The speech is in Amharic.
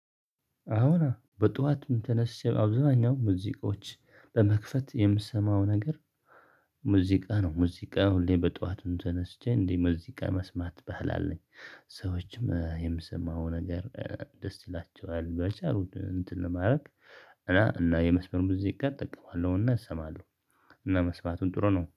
አሁን በጧቱን ተነስቼ አብዛኛው ሙዚቆች በመክፈት የምሰማው ነገር ነው። ሙዚቃ ሁሌ በጧቱ ተነስቼ እንዴ ሙዚቃ መስማት ባህል አለኝ። ሰዎችም የምሰማው ነገር ደስ ይላቸዋል በቻሉት እንትን ለማድረግ። እና እና የመስመር ብዙ ጊዜ ጋር እጠቀለሁና እሰማለሁ። እና መስማቱን ጥሩ ነው